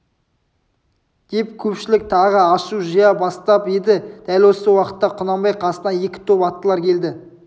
деп көпшілік тағы ашу жия бастап еді дәл осы уақытта құнанбай қасына екі топ аттылар келді